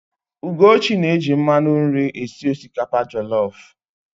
Ugochi na-eji mmanụ nri esi osikapa jọlọf.